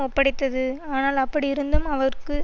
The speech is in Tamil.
ஒப்படைத்தது ஆனால் அப்படியிருந்தும் அவருக்கு